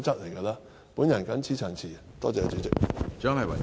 我謹此陳辭，多謝主席。